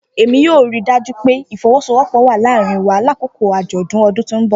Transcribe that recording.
Emi yoo rii daju pe ifowosowopo wa laarin wa lakoko ajọdun ọdun ti n bọ.